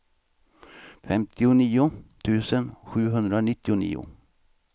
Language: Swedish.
femtionio tusen sjuhundranittionio